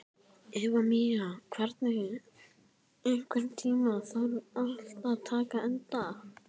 Efemía, einhvern tímann þarf allt að taka enda.